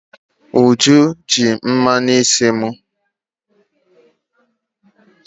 Uju ji mmanụ isi m.